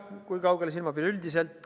Kui kaugele silmapiir ulatub?